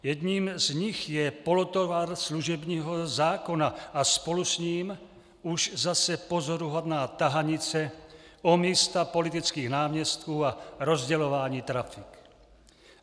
Jedním z nich je polotovar služebního zákona a spolu s ním už zase pozoruhodná tahanice o místa politických náměstků a rozdělování trafik.